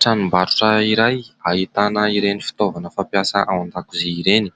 Tranombarotra iray ahitana ireny fitaovana fampiasa ao an-dakozia ireny ,